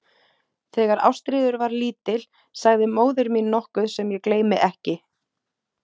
Þegar Ástríður var lítil sagði móðir mín nokkuð sem ég gleymi ekki.